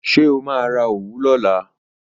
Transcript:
Ṣé o máa ra òwú lọ́la?